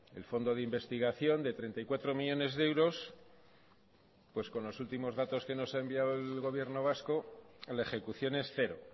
el fondo de investigación de treinta y cuatro millónes de euros con los últimos datos que nos ha enviado el gobierno vasco la ejecución es cero